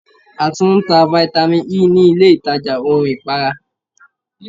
A tún ń ta Vitamin Ẹ ní ilé ìtajà ohun ìpara.